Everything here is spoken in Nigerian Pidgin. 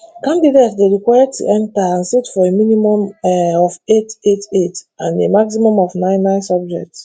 candidates dey required to enter and sit for a minimum um of eight eight eight and a maximum of nine nine subjects